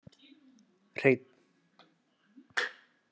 Hreinn